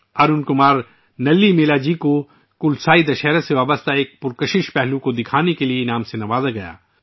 ارون کمار نلی میلاجی کو 'کلاسائی دسہرہ ' سے متعلق ایک پرکشش پہلو دکھانے پر ایوارڈ سے نوازا گیا